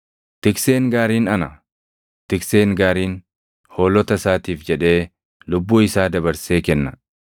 “Tikseen gaariin ana. Tikseen gaariin hoolota isaatiif jedhee lubbuu isaa dabarsee kenna.